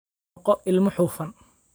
Noqo ilmo hufan.